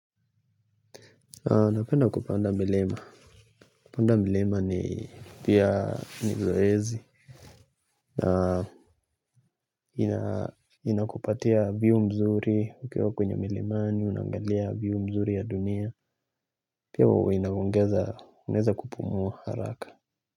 Napenda kupanda milima. Kupanda milima ni pia ni zoezi. Na ina inakupatia view mzuri ukiwa kwenye milimani, unaangalia view mzuri ya dunia. Pia huwa inaongeza, unaeza kupumua haraka.